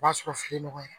O b'a sɔrɔ fili nɔgɔyara